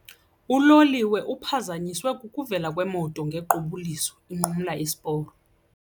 Uloliwe uphazanyiswe kukuvela kwemoto ngequbuliso inqumla isiporo.